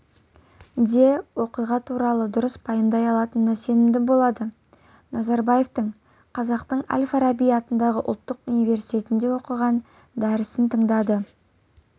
де оқиға туралы дұрыс пайымдай алатынына сенімді болады назарбаевтың қазақтың әл-фараби атындағы ұлттық университетінде оқыған дәрісін тыңдады